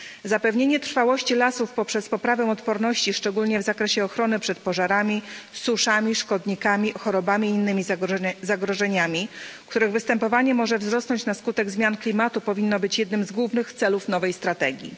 Zapewnienie trwałości lasów poprzez poprawę odporności, szczególnie w zakresie ochrony przed pożarami, suszami, szkodnikami, chorobami i innymi zagrożeniami, których występowanie może wzrosnąć na skutek zmiany klimatu, powinno być jednym z głównych celów nowej strategii.